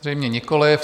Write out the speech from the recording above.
Zřejmě nikoli.